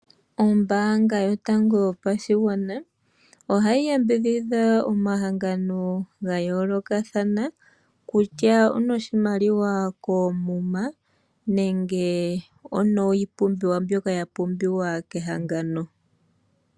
Ombaanga yotango yopashigwana ohayi yambidhidha omahangano gayoolokathana, kutya onoshimaliwa koomuma nenge oniipumbiwa mbyoka yapumbiwa kehangano.